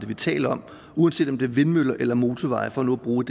vi taler om uanset om det er vindmøller eller motorveje for nu at bruge